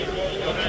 Yəqin, yəqin.